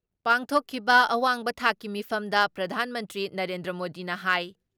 ꯄꯥꯡꯊꯣꯛꯈꯤꯕ ꯑꯋꯥꯡ ꯊꯥꯛꯀꯤ ꯃꯤꯐꯝꯗ ꯄ꯭ꯔꯙꯥꯟ ꯃꯟꯇ꯭ꯔꯤ ꯅꯔꯦꯟꯗ꯭ꯔ ꯃꯣꯗꯤꯅ ꯍꯥꯏ